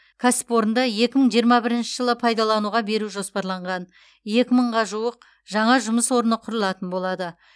кәсіпорынды екі мың жиырма бірінші жылы пайдалануға беру жоспарланған екі мыңға жуық жаңа жұмыс орны құрылатын болады